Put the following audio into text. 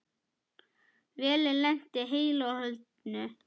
Vélin lenti heilu og höldnu.